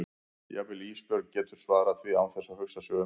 Jafnvel Ísbjörg getur svarað því án þess að hugsa sig um.